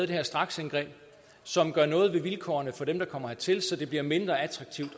det her straksindgreb som gør noget ved vilkårene for dem der kommer hertil så det bliver mindre attraktivt